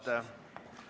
Palun!